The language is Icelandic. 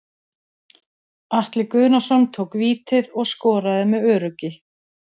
Atli Guðnason tók vítið og skoraði með öruggi.